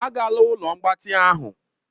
Agala ụlọ mgbatị ahụ!